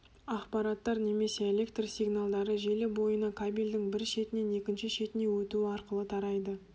ақпараттар немесе электр сигналдары желі бойына кабельдің бір шетінен екінші шетіне өтуі арқылы тарайды